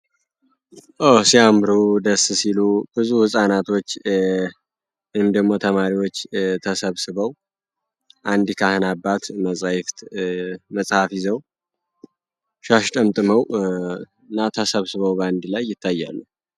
ኦ! ሲያምሩ ደስ ሲሉ ብዙ ፃናቶች እንድሁም ደግሞ ተማሪዎች ተሰብስበው አንዲ ካህን አባት መጽሐፍ ይዘው ሻሽ ጠምጥመው እና ተሰብስበው በአንዲ ላይ ይተያሉ።